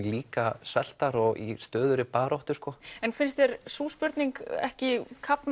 líka sveltar og í stöðugri baráttu en finnst þér sú spurning ekki kafna